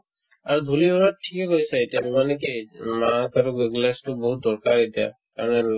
আৰু ধূলিৰ লগত গৈ আছে এতিয়া মানে কি আহিছে মানে কি তুমি তো বহুত দৰকাৰ এতিয়া আৰু আৰু